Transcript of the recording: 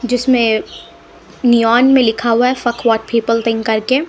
जिसमें नियॉन में लिखा हुआ है व्हाट पीपल थिंक करके--